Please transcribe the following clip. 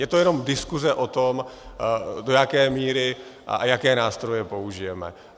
Je to jenom diskuse o tom, do jaké míry a jaké nástroje použijeme.